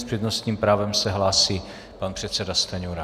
S přednostním právem se hlásí pan předseda Stanjura.